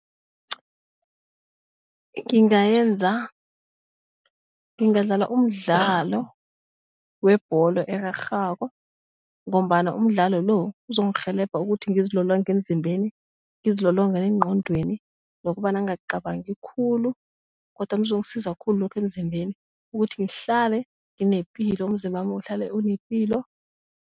Ngingayenza ngingadlala umdlalo webholo erarhako ngombana umdlalo lo uzongirhelebha ukuthi ngizilolonge emzimbeni ngizilolonge negqondweni nokobana ngingacabangi khulu kodwana kuzongisiza khulu lokho emzimbeni ukuthi ngihlale nginepilo umzimbami uhlale unepilo.